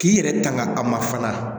K'i yɛrɛ tanga a ma fana